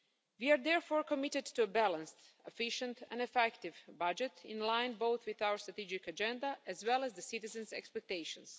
We are therefore committed to a balanced, efficient and effective budget in line both with our strategic agenda as well as the citizens' expectations.